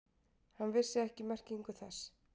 Hann vissi ekki merkingu þess.